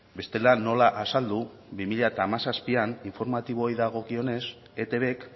bestela nola azaldu bi mila hamazazpian informatiboei dagokionez etbk